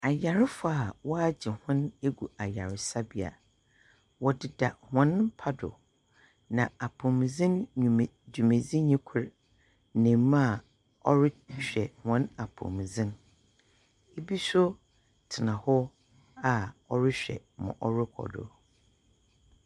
Ayarefoɔ a wɔahye hɔn egu ayaresabea. Wɔdeda hɔn mpa do, na apomudzen nnwuma dwumedzinyi kor ne mmaa a wɔrehwɛ hɔn apomudzen. Ibi nso tsena hɔ a wɔrehwɛ ma ɔrekɔ do.